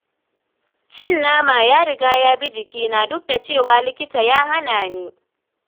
Cin nama ya riga ya bi jikina duk da cewa likita ya hana ni.